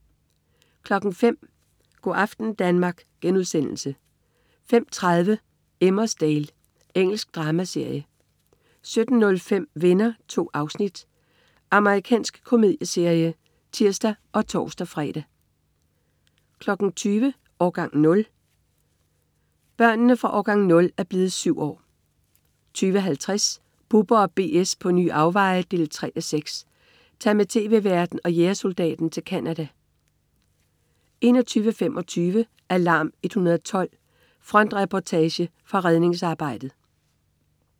05.00 Go' aften Danmark* 05.30 Emmerdale. Engelsk dramaserie 17.05 Venner. 2 afsnit. Amerikansk komedieserie (tirs og tors-fre) 20.00 Årgang 0, år 8. Børnene fra "Årgang 0" er blevet syv år 20.50 Bubber & BS på nye afveje 3:6. Tag med tv-værten og jægersoldaten til Canada 21.25 Alarm 112. Frontreportage fra redningsarbejdet